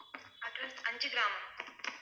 address Anjugramam